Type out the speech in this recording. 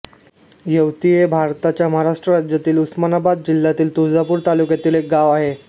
येवती हे भारताच्या महाराष्ट्र राज्यातील उस्मानाबाद जिल्ह्यातील तुळजापूर तालुक्यातील एक गाव आहे